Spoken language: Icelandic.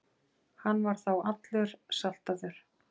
Hann var þá allur saltaður.